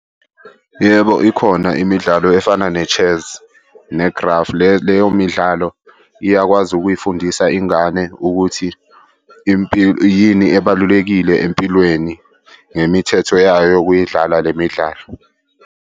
Yebo, ikhona imidlalo efana ne-chess ne-graph. Leyo midlalo iyakwazi ukuyifundisa ingane ukuthi yini ebalulekile empilweni ngemithetho yayo ukuyidlala le midlalo.